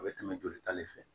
A bɛ tɛmɛ joli ta de fɛ